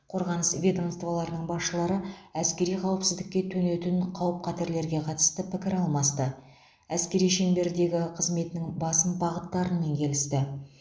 қорғаныс ведомстволарының басшылары әскери қауіпсіздікке төнетін қауіп қатерлерге қатысты пікір алмасты әскери шеңбердегі қызметінің басым бағыттарын келісті